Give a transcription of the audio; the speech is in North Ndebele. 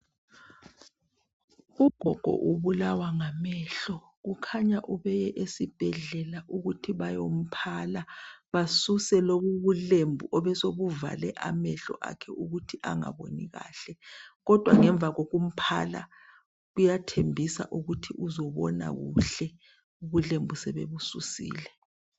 Ugogo ubulawa ngamehlo kukhanya ubeye esibhedlela ukuthi bayomphala basuse lobu ubulembu obesobuvale amehlo akhe ukuthi angaboni kahle. Kodwa ngemuva kokumphala kuyathembisa ukuthi uzobona kuhle ubulembu sebebususile.